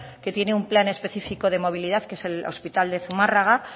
que tiene un plan específico de movilidad que es el hospital de zumárraga